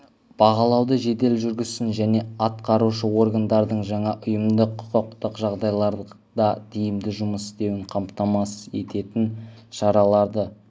бағалауды жедел жүргізсін және атқарушы органдардың жаңа ұйымдық-құқықтық жағдайларда тиімді жұмыс істеуін қамтамасыз ететін шараларды